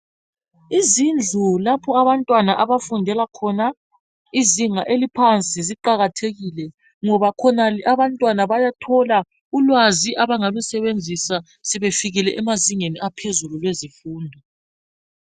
Izindlu lapho abantwana abafundela khona izinga eliphansi ziqakathekile ngoba khonale abantwana bayathola ulwazi abangalusebenzisa sebefikile emazingeni aphezulu kwezemfundo.